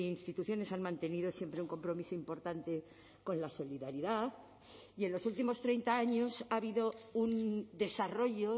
instituciones han mantenido siempre un compromiso importante con la solidaridad y en los últimos treinta años ha habido un desarrollo